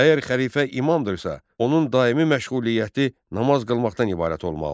Əgər xəlifə imamdırsa, onun daimi məşğuliyyəti namaz qılmaqdan ibarət olmalıdır.